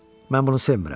Mən bunu sevmirəm.